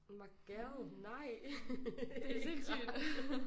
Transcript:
My gal nej! Det ikke rart